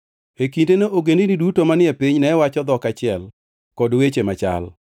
E kindeno ogendini duto manie piny ne wacho dhok achiel kod weche machal.